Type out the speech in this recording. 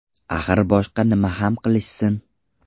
Axir boshqa nima ham qilishsin?